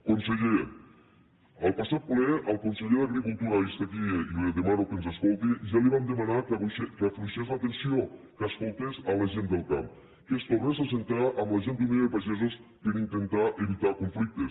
conseller en el passat ple al conseller d’agricultura i és aquí i li demano que ens escolti ja li vam demanar que afluixés la tensió que escoltés la gent del camp que es tornés a asseure amb la gent d’unió de pagesos per intentar evitar conflictes